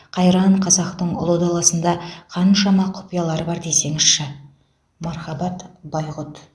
қайран қазақтың ұлы даласында қаншама құпиялар бар десеңізші мархабат байғұт